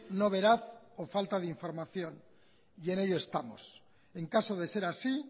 no veraz o falta de información y en ello estamos en caso de ser así